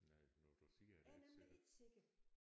Nej når du siger det er jeg ikke sikker